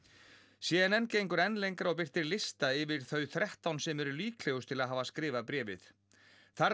c n n gengur enn lengra og birtir lista yfir þau þrettán sem eru líklegust til að hafa skrifað bréfið þar er